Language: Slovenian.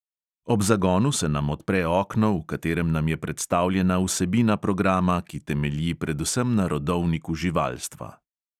Ob zagonu se nam odpre okno, v katerem nam je predstavljena vsebina programa, ki temelji predvsem na rodovniku živalstva.